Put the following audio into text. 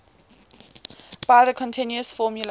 by the continuous formula